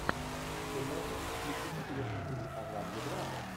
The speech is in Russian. ты можешь включить интересный фильм о жанре драма